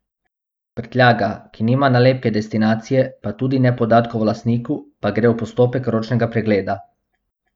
Prtljaga, ki nima nalepke destinacije, pa tudi ne podatkov o lastniku, pa gre v postopek ročnega pregleda.